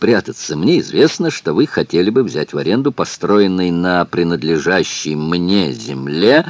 прятаться мне известно что вы хотели бы взять в аренду построенный на принадлежащей мне земле